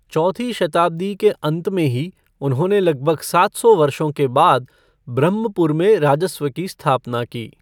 चौथी शताब्दी के अंत में ही उन्होंने लगभग सात सौ वर्षों के बाद ब्रह्मपुर में राजस्व की स्थापना की।